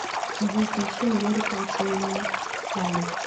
джой включи американ тин халид